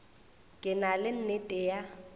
ke na le nnete ya